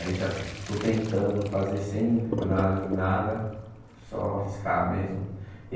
Aí já estou tentando fazer sem olhar em nada, só riscar mesmo.